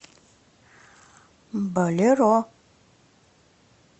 болеро